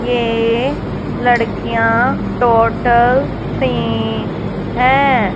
ये लड़कियां total three हैं।